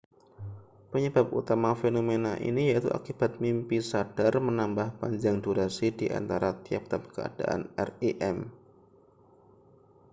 penyebab utama fenomena ini yaitu akibat mimpi sadar menambah panjang durasi di antara tiap-tiap keadaan rem